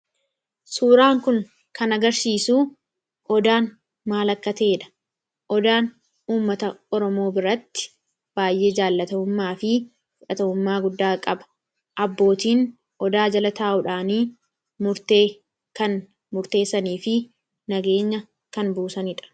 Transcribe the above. Suuraan kun kan agarsiisuu odaan maal akka ta'eedha. Odaan ummata Oromoo biratti baay'ee jaallatamummaa fi baay'ee fudhatamummaa qaba. Abbootiin odaa jala taa'uudhaanii murtee kan murteessanii fi nageenya kan buusaniidha.